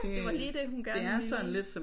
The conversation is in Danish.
Det var lige det hun gerne ville